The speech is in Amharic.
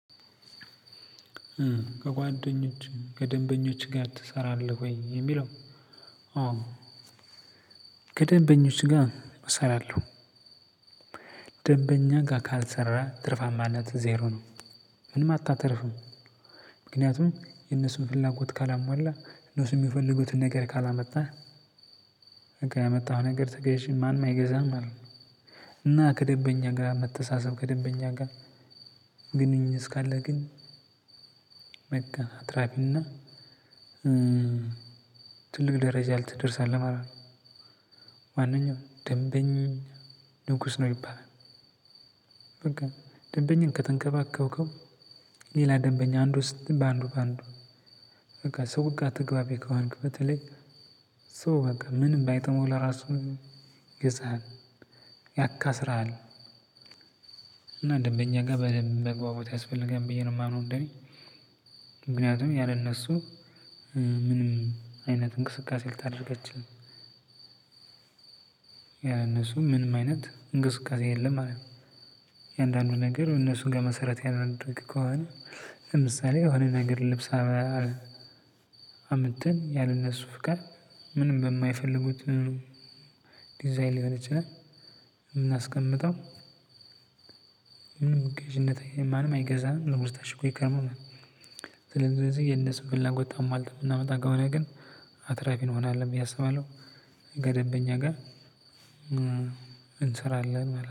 ከጓደኞች ከደንበኞች ጋር ትሰራለህ ወይ የሚለው? ከደንበኞች ጋር እሰራለው። ደንበኛ ጋር ካልሰራህ ትርፋማነትህ ዜሮ ነው። ምንም አታተርፍም። ምክንያቱም የነሱን ፍላጎት ካላሟላህ እነሱ የሚፈልጉትን ነገር ካላመጣህ በቃ ያመጣኸው ነገር ተገዢ ማንም አይገዛህም ማለት ነው። እና ከደንበኛ ጋር መተሳሰብ ከደንበኛ ጋር። ግንኙነት እስካለ ግን በቃ አትራፊና ትልቅ ደረጃ ልትደርሳለህ ማለት ነው። ማንኛውም ደንበኛ ንጉስ ነው ይባላል። በቃ ደንበኛን ከተንከባከብከው። ሌላ ደንበኛ አንዱ ስትል በአንዱ በአንዱ በቃ ሰው ጋር ተግባቢ ከሆንክ በተለይ ሰው በቃ ምንም ባይጥመው ለራሱ ይገዛሃል። ያካስርሃል። እና ደንበኛ ጋር በደንብ መግባባት ያስፈልጋል ብዬ ነው ማምነው እንደ እኔ። ምንክንያቱም ያለ እነሱ ምንም አይነት እንቅስቃሴ ልታደርግ አትችልም። ያለ እነሱ ምንም አይነት እንቅስቃሴ የለም ማለት ነው። እያንዳንዱ ነገር እነሱን መሰረት ያላደረገ ከሆነ። ለምሳሌ የሆነ ነገር ልብስ። አምጥተን ያለነሱ ፍቃድ ምንም በማይፈልጉት ዲዛይን ሊሆን ይችላል። ብናስቀምጠው። ምንም ገዥነት ማንም አይገዛም ነገሩ ታሽጎ ይከርማል ማለት ነው። ስለዚህ የነሱን ፍላጎት አሟልተን የምናመጣ ከሆነ ግን አትራፊ እንሆናለን ብዬ አስባለሁ። ከደንበኛ ጋር እንሰራለን ማለት ነው